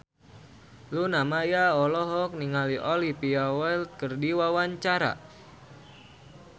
Luna Maya olohok ningali Olivia Wilde keur diwawancara